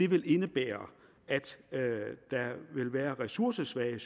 vil indebære at der vil være ressourcesvage